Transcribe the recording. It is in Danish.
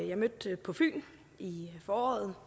jeg mødte på fyn i foråret